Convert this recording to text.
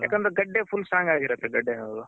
ಯಾಕಂದ್ರೆ ಗಡ್ಡೆ full Strong ಆಗಿರುತ್ತೆ ಗಡ್ಡೆ ಅದು.